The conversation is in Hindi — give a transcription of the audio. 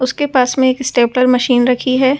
उसके पास में एक स्टेपलर मशीन रखी है ।